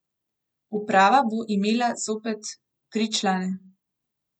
Uprava bo imela zopet tri člane.